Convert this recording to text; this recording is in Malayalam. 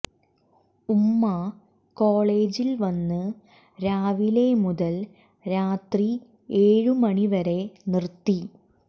ഉമ്മ കോളേജിൽ വന്ന് രാവിലെ മുതൽ രാത്രി ഏഴ് മണിവരെ നിർത്തി